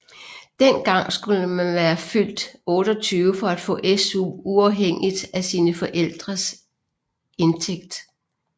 Den gang skulle man være fyldt 28 for at få SU uafhængigt af sine forældrenes indtægt